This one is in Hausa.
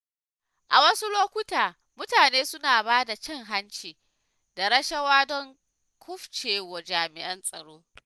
A wasu lokuta, mutane suna ba da cin hanci da rashawa don kufcewa jami'an tsaro.